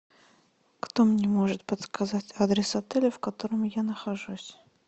кто мне может подсказать адрес отеля в котором я нахожусь